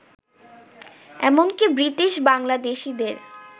এমনকী ব্রিটিশ বাংলাদেশীদের